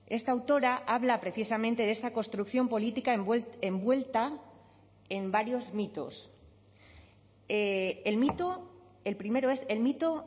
esta autora habla precisamente de esta construcción política envuelta en varios mitos el mito el primero es el mito